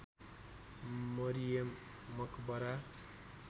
Mariam Maqbara